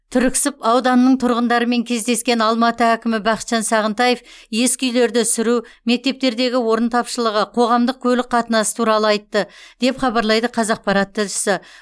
түрксіб ауданының тұрғындарымен кездескен алматы әкімі бақытжан сағынтаев ескі үйлерді сүру мектептердегі орын тапшылығы қоғамдық көлік қатынасы туралы айтты деп хабарлайды қазақпарат тілшісі